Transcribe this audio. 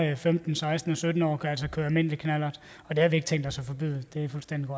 er femten seksten og sytten år kan altså køre almindelig knallert og det har vi ikke tænkt os at forbyde det